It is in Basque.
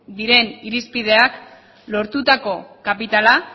diren irizpideak lortutako kapitala